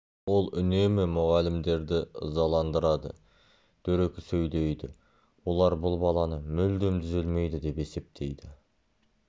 ол үнемі мұғалімдерді ызаландырады дөрекі сөйлейді олар бұл баланы мүлдем түзелмейді деп есептейді